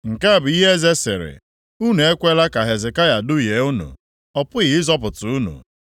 Nke a bụ ihe eze sịrị, Unu ekwela ka Hezekaya duhie unu. Ọ pụghị ịzọpụta unu.